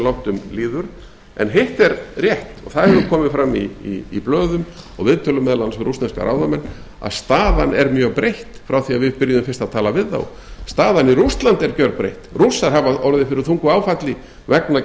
langt um líður en hitt er rétt og það hefur komið fram í blöðum og viðtölum meðal annars við rússneska ráðamenn að staðan er mjög breytt frá því að við byrjuðum fyrst að tala við þá staðan í rússlandi er gjörbreytt rússar hafa orðið fyrir þungu áfalli vegna